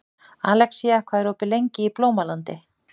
Alexía, hvað er opið lengi í Blómalandi?